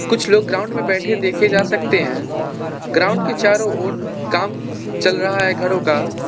कुछ लोग ग्राउंड में बैठे देखे जा सकते हैं ग्राउंड के चारों ओर काम चल रहा है घरों का।